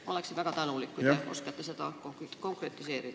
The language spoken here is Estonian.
Ma oleksin väga tänulik, kui te oskaksite seda konkretiseerida.